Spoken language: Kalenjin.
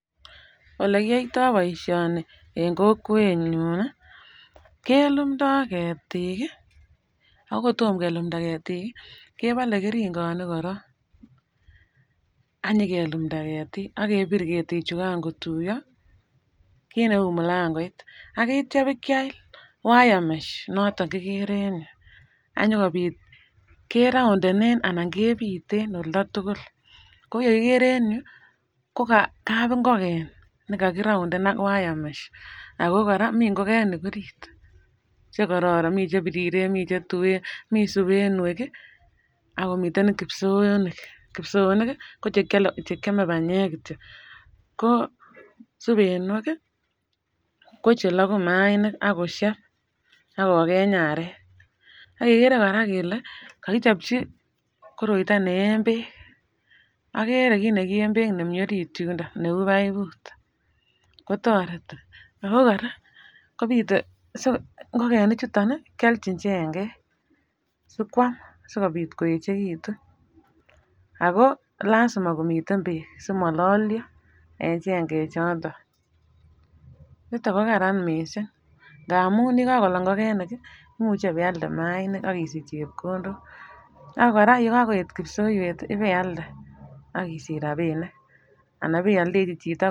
Ole kiyoyto boisioni en kokwenyun kelumdo ketik ii ago kotomo kelumda ketik ii kebale ngerikoning korong any nyikelumda ketik ak kebir ketik chukan kotuiyo kin neu mulangoit ak kitai biikeal wiremesh noton kikere en irou ak nyikobit ke roondenen ana kebiten olda tugul ko yekokere en yu ko kabingoken ne kakiroonden ak wiremesh ago koraa mi ingokenik orit chekororon mi chebiriren ,mi chetuwen, mi subenwek ak komiten kiibsoonik , kiibsoonik koche keame banyek kityo ko subenwek ko chelaguu kimainik ak kosheb ak kogeny arek ak kegere any kolee kakichopchi koroitoo ne en beek agere kiit ne kien beek nemi Orit yudon neu paiput kotoreti ago koraa kobite so ingokenik chuton kealjin chengeng sikwam sikobit koechegitun ago lazima komiten beek simololian en chengeng chuton niton kokaran miisik kamun ye kakolok ingokenik imuche ibealde mayainik ak isich chepkondok ago koraa yekakoet kiibsoywet ib bealde ak isich rabinik ana iyaldechi chito.